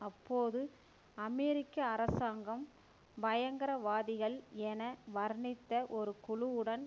அப்போது அமெரிக்க அரசாங்கம் பயங்கரவாதிகள் என வர்ணித்த ஒரு குழுவுடன்